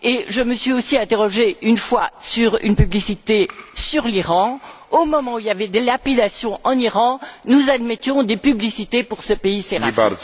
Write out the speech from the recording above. Je me suis aussi interrogée à l'époque sur une publicité sur l'Iran, au moment où il y avait des lapidations en Iran, nous admettions des publicités pour ce pays séraphique.